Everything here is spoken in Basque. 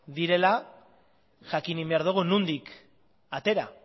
direla jakin egin behar dugu nondik atera